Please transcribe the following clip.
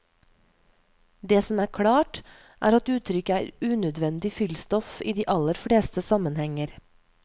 Det som er klart, er at uttrykket er unødvendig fyllstoff i de aller fleste sammenhenger.